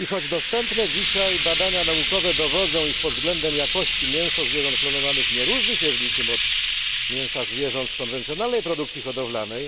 Dostępne dzisiaj badania naukowe dowodzą, iż pod względem jakości mięso zwierząt klonowanych nie różni się niczym od mięsa zwierząt z konwencjonalnej produkcji hodowlanej.